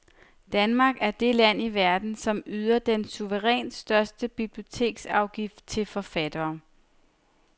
Danmark er det land i verden, som yder den suverænt største biblioteksafgift til forfattere.